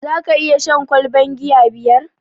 Zaka iya shan ƙwalban giya biyar?